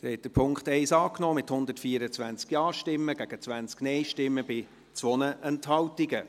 Sie haben den Punkt 1 angenommen, mit 124 Ja- gegen 20 Nein-Stimmen bei 2 Enthaltungen.